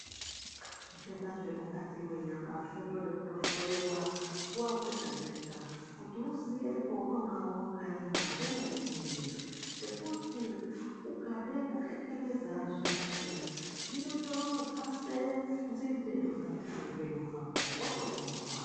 Zvitenda zvemukati mwenyama zvinotoda kutohloiwa nguwa dzega-dzega kuti uziye paunenge wakaema pemene-mene .Ngekuti ,ukade kukhekeleza zviyani ,zvinotodzase nzinde mukati mweupenyu hwako wotozofa.